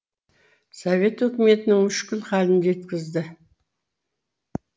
совет үкіметінің мүшкіл халін жеткізді